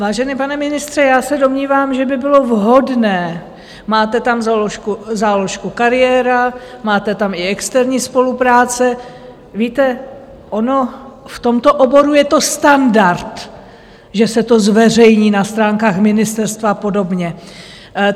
Vážený pane ministře, já se domnívám, že by bylo vhodné, máte tam záložku kariéra, máte tam i externí spolupráce - víte, ono v tomto oboru je to standard, že se to zveřejní na stránkách ministerstva a podobně.